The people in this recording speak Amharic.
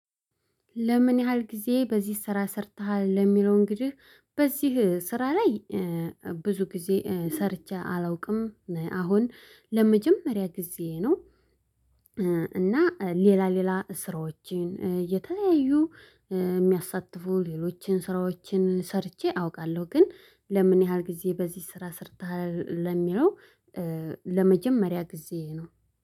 ለምን ያህል ጊዜ በዚህ ስራ ሰርተሃል ለሚለው እንግዲህ በዚህ ስራ ላይ ብዙ ጊዜ ሰርቼ አላውቅም አሁን ለመጀመሪያ ጊዜ ነው። እና ሌላ ሌላ ስራዎችን እየተለያዩ የሚያሳትፉ ሌሎችን ስራዎችን ሰርቼ አውቃለሁ። ግን ለምን ያህል ጊዜ በዚህ ስራ ሰርተሃል? ለሚለው ለመጀመሪያ ጊዜ ነው